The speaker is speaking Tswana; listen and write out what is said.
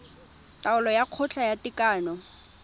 taolo ya kgotla ya tekano